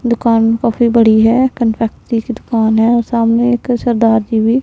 दुकान काफी बड़ी है कंफेक्शनरी की दुकान है और सामने एक सरदार जी भी--